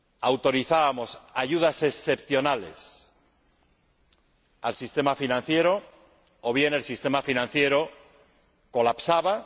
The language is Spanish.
autorizábamos ayudas excepcionales al sistema financiero o bien el sistema financiero colapsaba.